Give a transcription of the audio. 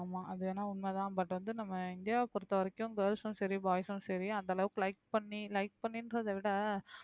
ஆமா அது வேணா உண்மைதான் but வந்து நம்ம இந்தியாவை பொறுத்தவரைக்கும் girls சும் சரி boys ம் சரி அந்த அளவுக்கு like பண்ணி like பண்ணின்றதை விட